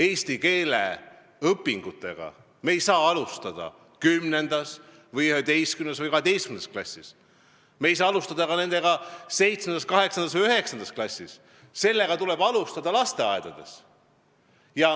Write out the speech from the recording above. Eesti keele õpingutega ei saa alustada 10., 11. või 12. klassis, nendega ei saa alustada ka 7., 8. või 9. klassis, nendega tuleb alustada lasteaias.